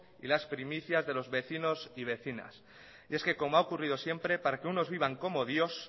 y las primicias de los vecinos y vecinas y es que como ha ocurrido siempre para que unos vivan como dios